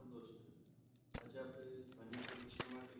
ભવિષ્ય માટે,